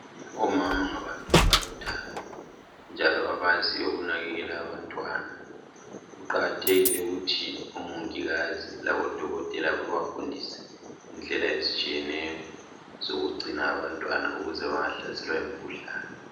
Omama ngabantu abalothando njalo abaziyo ukunakekela abantwana . Kuqakathekile ukuthi omongikazi labodokotela babafundise indlela ezitshiyeneyo zokugcina abantwana ukuze bangahlaselwa yimikhuhlane.